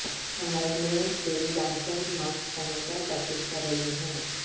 Shanghai میں ballet dancers mask پہن کر پریکٹس کر رہی ہیں